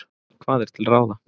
Hvað er til ráða?